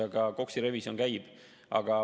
Aga KOKS‑i revisjon käib.